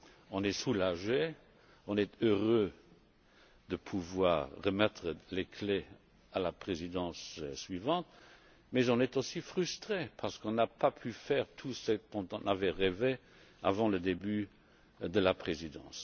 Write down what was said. On est soulagé, on est heureux de remettre les clés à la Présidence suivante mais on est aussi frustré parce qu'on n'a pas pu faire tout ce dont on avait rêvé avant le début de la Présidence.